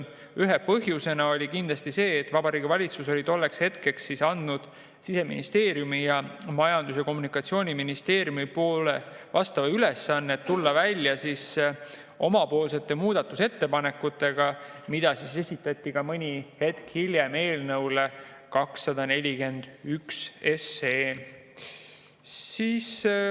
Üks põhjus oli kindlasti see, et Vabariigi Valitsus oli tolleks hetkeks andnud Siseministeeriumile ja Majandus‑ ja Kommunikatsiooniministeeriumile ülesande tulla välja oma muudatusettepanekutega, mis esitati hiljem ka eelnõu 241 kohta.